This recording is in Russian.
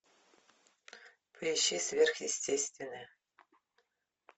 поищи сверхъестественное